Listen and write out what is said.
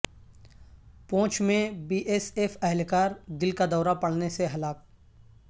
پونچھ میں B S F اہلکار دل کا دورہ پڑنے سے ہلاک